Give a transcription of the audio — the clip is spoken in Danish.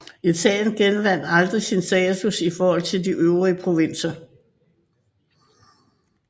Italien genvandt aldrig sin status i forhold til de øvrige provinser